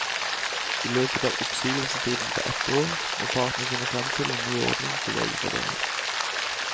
I løpet av oppsigelsestiden på ett år må partene finne frem til en ny ordning for legefordeling.